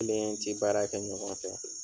K'ale n ci baara kɛ ɲɔgɔn fɛ